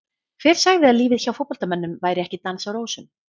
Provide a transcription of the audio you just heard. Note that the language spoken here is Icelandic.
Hver sagði að lífið hjá fótboltamönnum væri ekki dans á rósum?